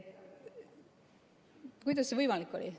Kuidas see võimalik oli?